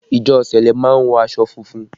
Ìjọ sẹlẹ má ń wọ aṣọ funfun